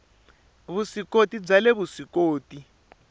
vusw ikoti bya le vuswikoti